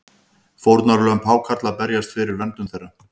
Fórnarlömb hákarla berjast fyrir verndun þeirra